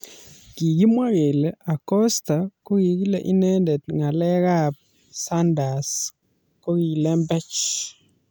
Kikimwa kele Acosta kokile inendet ngalek ab sanders kokilembechek.